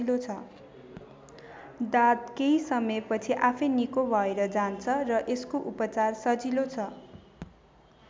दाद केही समयपछि आफैँ निको भएर जान्छ र यसको उपचार सजिलो छ।